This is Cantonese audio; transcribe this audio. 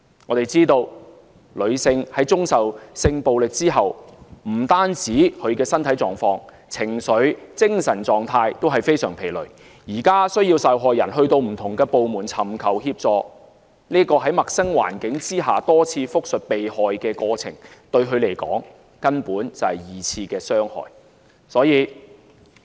我們知道女性在遭受性暴力之後，不但是身體狀況，情緒、精神狀態均非常疲累，現時需要受害人前往不同部門尋求協助，在陌生環境下多次複述受害過程，對她們來說，根本是二次傷害。